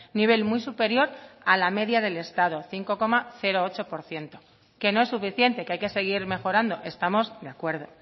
nivel muy superior a la media del estado cinco coma ocho por ciento que no es suficiente que hay que seguir mejorando estamos de acuerdo